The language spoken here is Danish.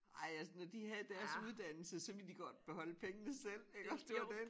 Ej jeg nå de havde deres uddannelse så ville de godt beholde pengene selv iggås det var den